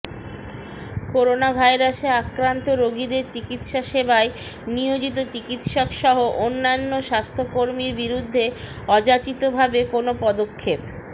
করোনাভাইরাসে আক্রান্ত রোগীদের চিকিৎসা সেবায় নিয়োজিত চিকিৎসকসহ অন্যান্য স্বাস্থ্যকর্মীর বিরুদ্ধে অযাচিতভাবে কোনো পদক্ষেপ